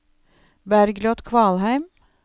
Bergljot Kvalheim